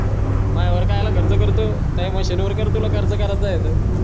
माह्या वर कह्याला खर्च करतो तुह्या मशीन वर कर तुला खर्च करायचं तर